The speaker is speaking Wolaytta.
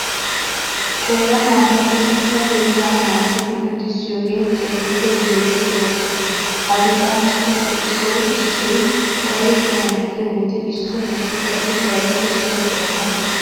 Qeera naata luxetta keettan naagidi luxissiyogee keehippe deexxiya ooso. Ha luxanchchatuppe issoy issoy kare kiyana giyo wode issoy issoy qassi kareppe soo gelana gees.